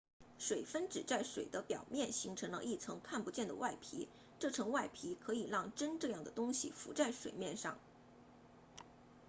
水分子在水的表面形成了一层看不见的外皮这层外皮可以让针这样的东西浮在水面上